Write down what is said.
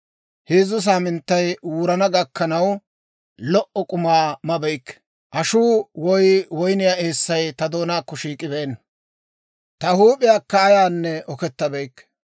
Heezzu saaminttay wurana gakkanaw lo"o k'uma mabeykke; ashuu woy woyniyaa eessay ta doonaakko shiik'ibeenna. Ta huup'iyaakka ayaanne okettabeykke.